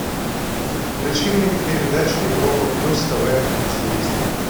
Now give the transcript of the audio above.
включи мне передачу европа плюс тв на телевизоре